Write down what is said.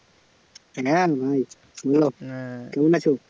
হ্যাঁ ভাই বলো কেমন আছো?